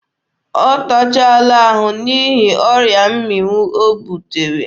Ọ tachaala ahụ n'ihi ọrịa mmịnwụ o butere.